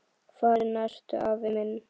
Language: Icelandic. Farinn ertu, afi minn.